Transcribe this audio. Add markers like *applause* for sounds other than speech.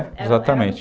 *unintelligible* exatamente.